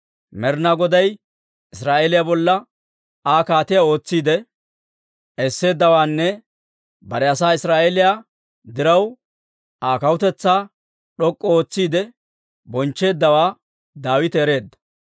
Med'inaa Goday Israa'eeliyaa bolla Aa kaatiyaa ootsiide esseeddawaanne bare asaa Israa'eeliyaa diraw Aa kawutetsaa d'ok'k'u ootsiide bonchcheeddawaa Daawite ereedda.